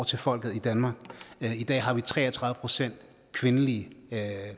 til folket i danmark i dag har vi tre og tredive procent kvindelige